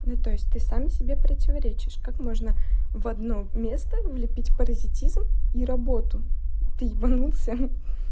ну то есть ты сам себе противоречишь как можно в одно место влепить паразитизм и работу ты ебанулся